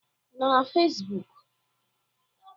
Ị nọ na Fesbụụk?